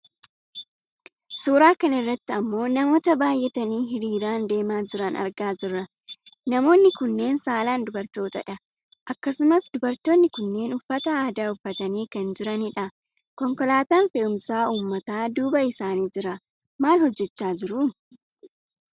Suuraa kanarratti ammoo namoota baayyatanii hiriiraan deemaa jiran argaa jirra. Namooni kunneen saalaan dubartootadha. Akkasumas dubartoonni kunneen uffata aadaa uffatanii kan jiranidha. Konkolaataan fe'umsa uumataa duuba isaanii jira. Maal hojjachaa jiru?